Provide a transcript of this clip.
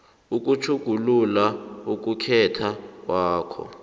ukutjhugulula ukukhetha kwakho